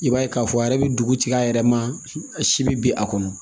I b'a ye k'a fɔ a yɛrɛ bɛ dugutigi a yɛrɛ ma si bɛ bin a kɔnɔ